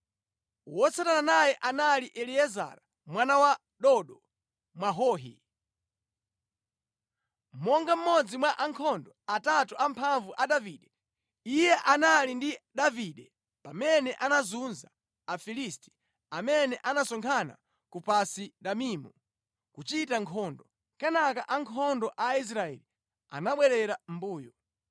Wotsatana naye anali Eliezara mwana wa Dodo Mwahohi. Monga mmodzi mwa ankhondo atatu amphamvu a Davide, iye anali ndi Davide pamene anazunza Afilisti amene anasonkhana ku Pasi-Damimu kuchita nkhondo. Kenaka ankhondo a Israeli anabwerera mʼmbuyo.